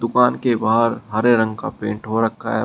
दुकान के बाहर हरे रंग का पेंट हो रखा है।